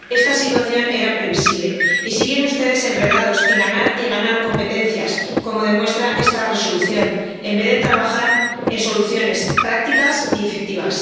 Esta situación era previsible y siguen ustedes enredados en ganar y ganar competencias, como demuestra esta Resolución, en vez de trabajar en soluciones prácticas y efectivas.